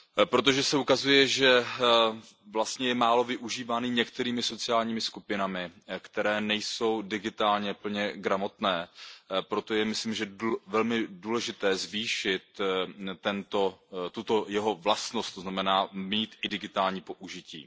Protože se ukazuje, že je málo využívaný některými sociálními skupinami, které nejsou digitálně plně gramotné, je, myslím si, velmi důležité zvýšit tuto jeho vlastnost, to znamená mít i digitální použití.